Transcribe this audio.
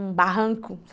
Um barranco.